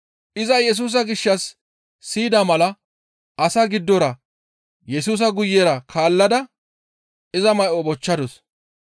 Iza Yesusa gishshas siyida mala asaa giddora Yesusa guyera kaallada iza may7o bochchadus.